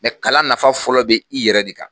Mɛ kalan nafa fɔlɔ bɛ i yɛrɛ de kan